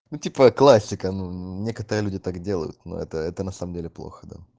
ну типа классика ну некоторые люди так делают но это это на самом деле плохо да